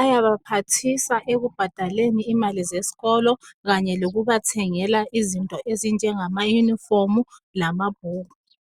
ayabaphathisa ekubhadaleni imali zesikolo kanye lokubathengela izinto ezinjengama yunifomu kanye lamabhuku.